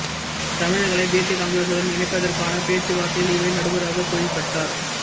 தமிழர்களை தேசிய காங்கிரசுடன் இணைப்பதற்கான பேச்சுவார்த்தையில் இவரே நடுவராகத் தொழிற்பட்டார்